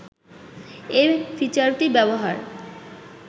এ ফিচারটি ব্যবহার